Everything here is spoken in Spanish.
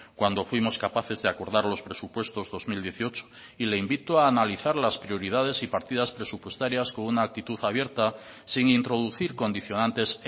cuando fuimos capaces de acordar los presupuestos dos mil dieciocho y le invito a analizar las prioridades y partidas presupuestarias con una actitud abierta sin introducir condicionantes